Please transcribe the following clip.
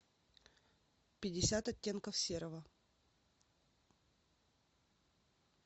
пятьдесят оттенков серого